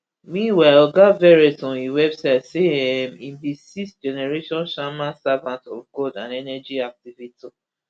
meanwhile oga verrett on im website say um im be sixth generation shaman servant of god and energy activator